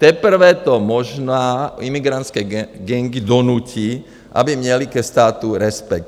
Teprve to možná imigrantské gangy donutí, aby měly ke státu respekt.